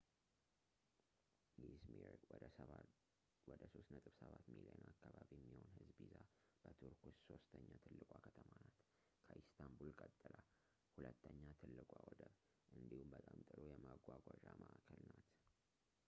ኢዝሚር ወደ 3.7 ሚሊዮን አካባቢ የሚሆን ህዝብ ይዛ በቱርክ ውስጥ ሶስተኛ ትልቋ ከተማ ናት ከኢስታንቡል ቀጥላ ሁለተኛ ትልቋ ወደብ እንዲሁም በጣም ጥሩ የመጓጓዣ ማእከል ናት